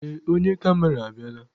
Ee, onye kamera abịala.